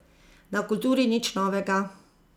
Na kulturi nič novega.